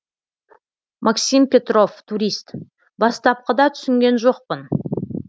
максим петров турист бастапқыда түсінген жоқпын